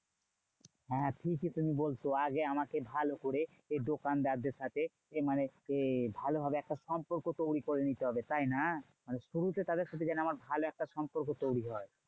হ্যাঁ হ্যাঁ ঠিকই তুমি বলছো। আগে আমাকে ভালো করে দোকানদারদের সাথে মানে এ ভালোভাবে একটা সম্পর্ক তৈরী করে নিতে হবে, তাইনা? শুরুতে তাদের সাথে যেন আমার ভালো একটা সম্পর্ক তৈরী হয়।